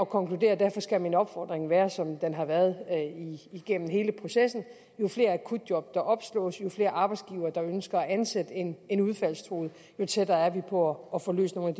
konkludere og derfor skal min opfordring være som den har været igennem hele processen jo flere akutjob der opslås jo flere arbejdsgivere der ønsker at ansætte en en udfaldstruet jo tættere er vi på at få løst nogle